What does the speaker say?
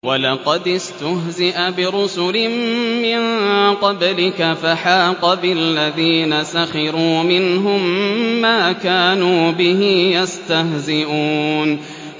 وَلَقَدِ اسْتُهْزِئَ بِرُسُلٍ مِّن قَبْلِكَ فَحَاقَ بِالَّذِينَ سَخِرُوا مِنْهُم مَّا كَانُوا بِهِ يَسْتَهْزِئُونَ